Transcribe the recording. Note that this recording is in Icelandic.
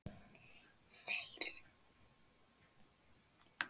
Þeir græða.